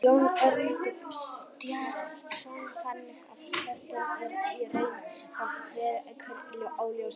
Jón Örn Guðbjartsson: Þannig að kvótinn er í raun og veru einhver óljós stærð?